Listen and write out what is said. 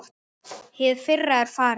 Hið fyrra er farið.